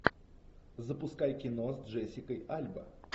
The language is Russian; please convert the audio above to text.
запускай кино с джессикой альба